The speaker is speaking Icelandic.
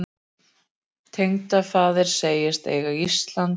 Tengdafaðir segist eiga Ísland.